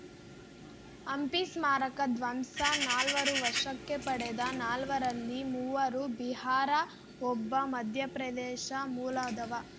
ಹಂಪಿ ಸ್ಮಾರಕ ಧ್ವಂಸ ನಾಲ್ವರು ವಶಕ್ಕೆ ವಶಕ್ಕೆ ಪಡೆದ ನಾಲ್ವರಲ್ಲಿ ಮೂವರು ಬಿಹಾರ ಒಬ್ಬ ಮಧ್ಯಪ್ರದೇಶ ಮೂಲದವ